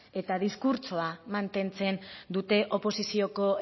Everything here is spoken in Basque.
eta diskurtsoa mantentzen dute oposizioko